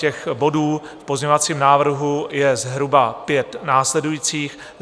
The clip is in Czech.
Těch bodů v pozměňovacím návrhu je zhruba pět následujících.